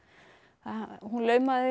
hún laumaði